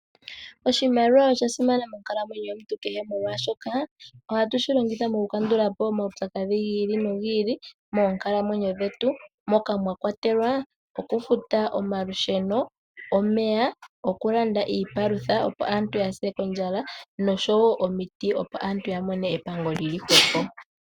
Oshimaliwa osha simana monkalamwenyo yomuntu kehe molwaashoka ohatushi longitha mokukandulapo omaupyakadhi gi ili nogi ili moonkalamwenyo dhetu, moka mwa kwatelwa okufuta omalusheno, omeya, okulanda iipalutha opo aantu yaase ondjala, noshowo omiti opo aantu yamone epango lili hwepo.